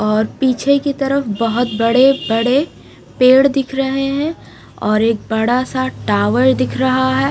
और पीछे की तरफ बहोत बड़े बड़े पेड़ दिख रहे है और एक बड़ा सा टॉवर दिख रहा है।